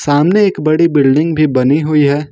सामने एक बड़ी बिल्डिंग भी बनी हुई है।